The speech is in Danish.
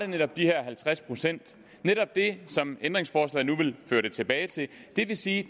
netop de her halvtreds procent netop det som ændringsforslaget nu vil føre det tilbage til det vil sige